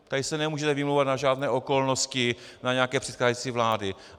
Tady se nemůžete vymlouval na žádné okolnosti, na nějaké předcházející vlády.